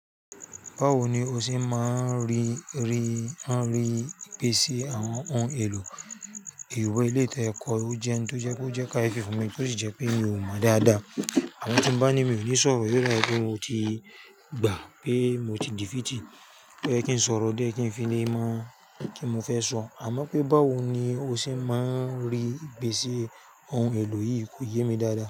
Báwo ni o ṣe máa ń rí, ri, n ri, ìpèsè àwọn ohun èlò ìwé eléyi to yẹ́ kọ́ o jẹ n tó jẹ pé ó jẹ́ káyefi fún mi tó sì jẹ́ pé mi ò mọ dáadáa. Àmọ́ tí bá ní mi ò ní sọ̀rọ̀ yóò da wipé mo ti gbà pé mo ti dì fìtì pé oye kí n sọ̀rọ̀ dé ye kí n fi le mo, kí n mo fẹ́ sọ. Àmọ́ pé báwo ni o ṣe máa ń rí ìpèsè ohun èlò yìí kò yé mi dáadáa.